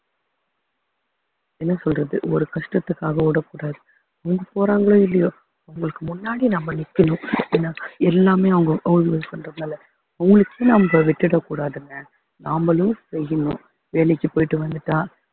என்ன சொல்றது ஒரு கஷ்டத்துக்காக ஓடக்கூடாது அவங்க போறாங்களோ இல்லையோ அவங்களுக்கு முன்னாடி நம்ம நிக்கணும் ஏன்னா எல்லாமே அவங்க use பண்றதுனால அவங்களுக்கு நம்ம விட்டுடக் கூடாதுங்க நாமளும் செய்யணும் வேலைக்கு போயிட்டு வந்துட்டா